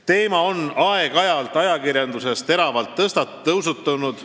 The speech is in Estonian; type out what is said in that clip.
Teema on aeg-ajalt ajakirjanduses teravalt üles tõusnud.